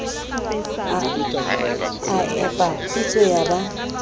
a epa pitso ya ba